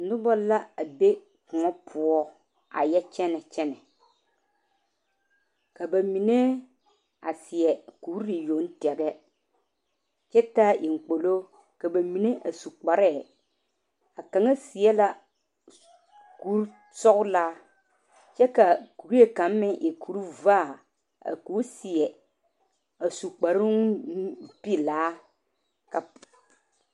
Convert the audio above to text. Noba la a be kõɔ poɔ a yɛ kyɛne kyɛne ka ba mine a seɛ kuri yoŋ tɛŋɛ kyɛ taa eŋ kpolo ka ba mine a su kpaare a kaŋa seɛ la kuri sɔglaa kyɛ ka kuri kaŋ meŋ e kuri vaa ko seɛ a su kparo nu pelaa ka po.